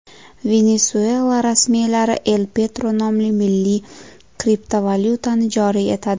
Venesuela rasmiylari El Petro nomli milliy kriptovalyutani joriy etadi.